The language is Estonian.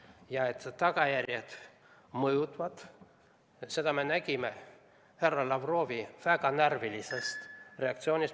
Ja seda, et tagajärjed mõjuvad, me nägime härra Lavrovi väga närvilisest reaktsioonist.